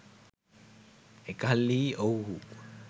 එකල්හි ඔවුුහු